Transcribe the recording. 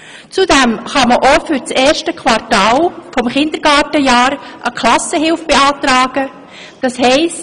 Zudem kann man auch für das erste Quartal des Kindergartenjahres eine Klassenhilfe beantragen, das heisst: